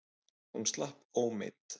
Hún slapp ómeidd.